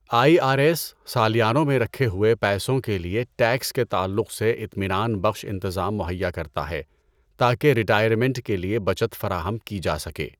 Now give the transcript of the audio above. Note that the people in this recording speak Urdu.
آئی آر ایس سالیانوں میں رکھے ہوئے پیسوں کے لیے ٹیکس کے تعلق سے اطمینان بخش انتظام مہیا کرتا ہے تاکہ ریٹائرمنٹ کے لیے بچت فراہم کی جا سکے۔